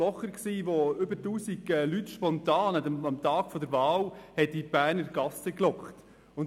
Blocher zogen über 1000 Leute spontan und lautstark durch die Berner Gassen.